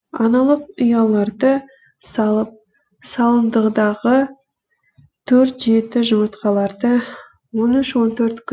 аналық ұяларды салып салындыдағы төрт жеті жұмыртқаларды он үш он төрт күн